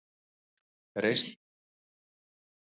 Reislur geta verið misstórar, armarnir mislangir og lóðin misþung.